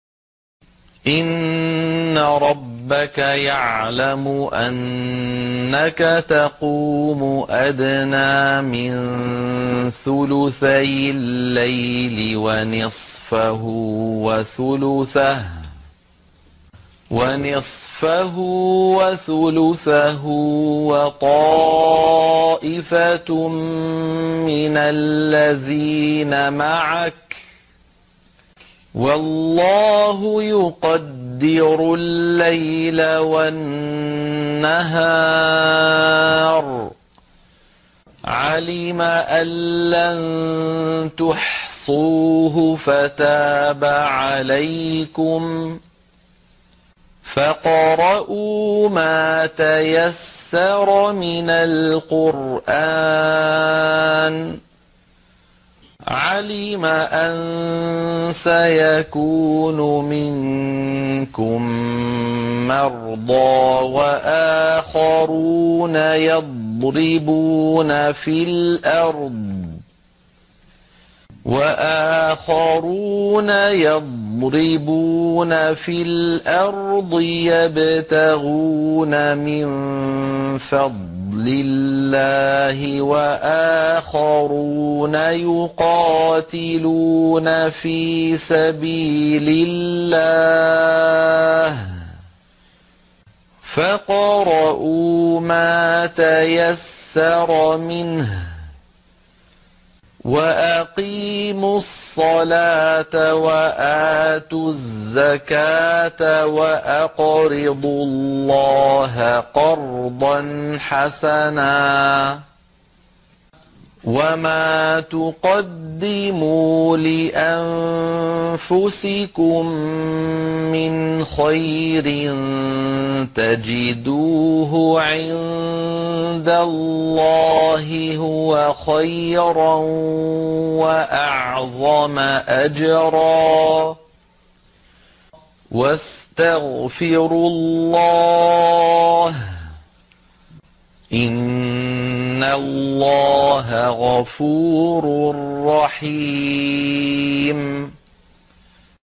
۞ إِنَّ رَبَّكَ يَعْلَمُ أَنَّكَ تَقُومُ أَدْنَىٰ مِن ثُلُثَيِ اللَّيْلِ وَنِصْفَهُ وَثُلُثَهُ وَطَائِفَةٌ مِّنَ الَّذِينَ مَعَكَ ۚ وَاللَّهُ يُقَدِّرُ اللَّيْلَ وَالنَّهَارَ ۚ عَلِمَ أَن لَّن تُحْصُوهُ فَتَابَ عَلَيْكُمْ ۖ فَاقْرَءُوا مَا تَيَسَّرَ مِنَ الْقُرْآنِ ۚ عَلِمَ أَن سَيَكُونُ مِنكُم مَّرْضَىٰ ۙ وَآخَرُونَ يَضْرِبُونَ فِي الْأَرْضِ يَبْتَغُونَ مِن فَضْلِ اللَّهِ ۙ وَآخَرُونَ يُقَاتِلُونَ فِي سَبِيلِ اللَّهِ ۖ فَاقْرَءُوا مَا تَيَسَّرَ مِنْهُ ۚ وَأَقِيمُوا الصَّلَاةَ وَآتُوا الزَّكَاةَ وَأَقْرِضُوا اللَّهَ قَرْضًا حَسَنًا ۚ وَمَا تُقَدِّمُوا لِأَنفُسِكُم مِّنْ خَيْرٍ تَجِدُوهُ عِندَ اللَّهِ هُوَ خَيْرًا وَأَعْظَمَ أَجْرًا ۚ وَاسْتَغْفِرُوا اللَّهَ ۖ إِنَّ اللَّهَ غَفُورٌ رَّحِيمٌ